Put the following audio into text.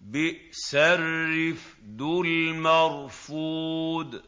بِئْسَ الرِّفْدُ الْمَرْفُودُ